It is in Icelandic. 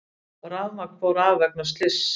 Rafmagn fór af vegna slyss